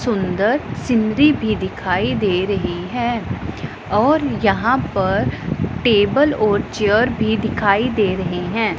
सुंदर सिंधी भी दिखाई दे रही है और यहां पर टेबल और चेयर भी दिखाई दे रहे हैं।